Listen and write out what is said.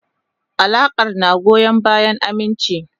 Alakar na goyon bayan aminci.